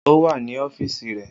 O wa ni ọfiisi rẹ.